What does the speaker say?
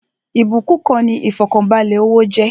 Ìbúkún kan ni ifọkanbalẹ owó jẹ́